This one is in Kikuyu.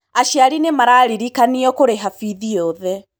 Aciari nĩmararirikanio kũrĩha bithi yothe.